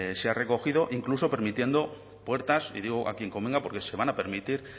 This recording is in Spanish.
se ha recogido incluso permitiendo puertas y digo a quien convenga porque se van a permitir